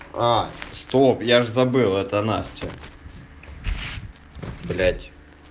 а стоп я же забыл это настя блять